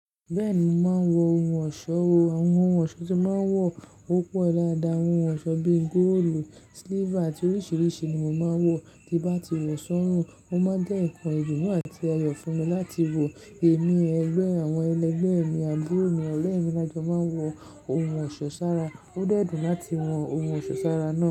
Bẹ́ẹ̀ni, mo máa ń wọ ohun ọ̀ṣọ́. Àwọn ohun ọ̀ṣọ́ tí mo máa ń wọ o pọ̀ dáadáa. Ohun ọ̀ṣọ́ bíi góòlù, siliva àti oríṣiríṣi ni mo máa ń wọ. Ti bá ti wọ̀ sọ́rùn, o máa ń jẹ́ ǹkan idunu àti ayọ̀ fún mi láti wọ̀. Èmi, ẹgbẹ́ àwọn ẹlẹgbẹ́ mi àburo mi ọ̀re mi la jò máa ń wọ ohun ọ̀ṣọ́ sára. Ó dẹ́ dùn láti wọ ohun ọ̀ṣọ́ sára náà.